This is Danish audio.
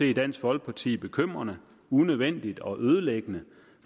i dansk folkeparti bekymrende unødvendigt og ødelæggende